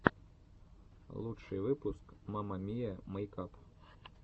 лучший выпуск мама миа мэйкап